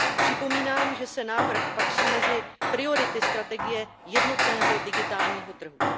Připomínám, že návrh patří mezi priority strategie jednotného digitálního trhu.